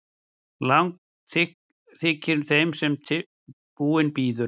Langt þykir þeim sem búinn bíður.